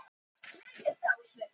Ég tók riffilinn af bakinu.